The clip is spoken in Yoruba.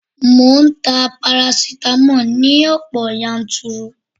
Mò ń ta parasitamoli ní ọ̀pọ̀ yanturu